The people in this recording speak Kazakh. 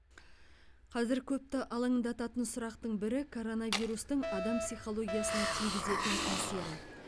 қазір көпті алаңдататын сұрақтың бірі коронавирустың адам психологиясына тигізетін әсері